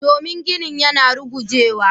Domin ginin yana rugujewa.